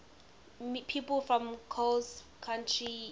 people from coles county illinois